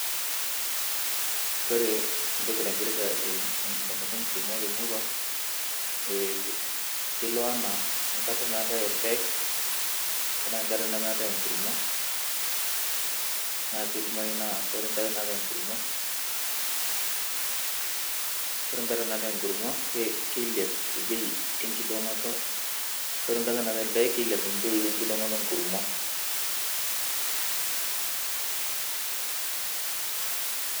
Kore ntoki naipirita e ekidong'oto enkurumwa temura, e kelo ana enkata natai elpaeg tanaa nkatai nemeetai nkurumwa, naa keidimai naa kore nkata naatai nkurumwa, kore nkata naatai nkurumwa ke keilep bei ekidong'oto, kore nkata naatai lpaeg keilep ekidong'oto enkurumwa.